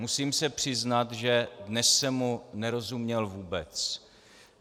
Musím se přiznat, že dnes jsem mu nerozuměl vůbec.